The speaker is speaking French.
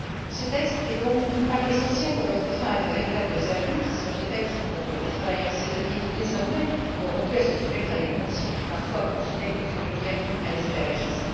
Ce texte est donc essentiel pour mettre fin à de véritables abus qui se répètent pour des travailleurs saisonniers qui, désormais, n'auront plus à se soumettre à des conditions qui confinaient parfois, il faut le dire, à l'esclavagisme.